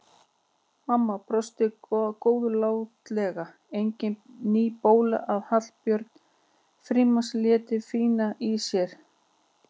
Mamma brosti góðlátlega, engin ný bóla að Hallbjörg Frímanns léti hvína í sér.